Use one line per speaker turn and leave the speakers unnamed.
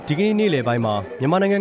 ဒီကနေ့ နေ့လည်မှာ မြန်မာနိုင်ငံ